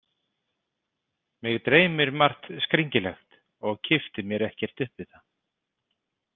Mig dreymir margt skringilegt og kippti mér ekkert upp við það.